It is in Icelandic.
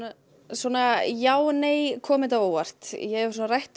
svona já og nei kom þetta á óvart hef rætt